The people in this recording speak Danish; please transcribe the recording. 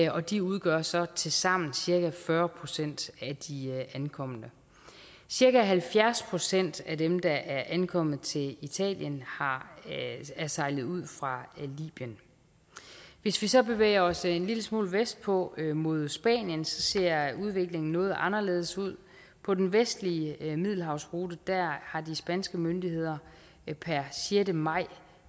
og de udgør så tilsammen cirka fyrre procent af de ankomne cirka halvfjerds procent af dem der er ankommet til italien er sejlet ud fra libyen hvis vi så bevæger os en lille smule vestpå mod spanien så ser udviklingen noget anderledes ud på den vestlige middelhavsrute har de spanske myndigheder per sjette maj